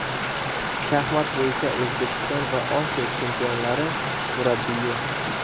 Shaxmat bo‘yicha O‘zbekiston va Osiyo chempionlari murabbiyi.